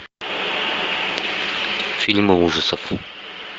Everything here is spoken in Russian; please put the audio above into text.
фильмы ужасов